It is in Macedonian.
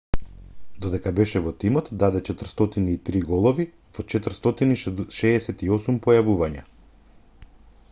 додека беше во тимот даде 403 голови во 468 појавувања